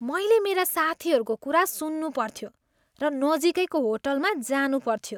मैले मेरा साथीहरूको कुरा सुन्नुपर्थ्यो र नजिकैको होटलमा जानुपर्थ्यो।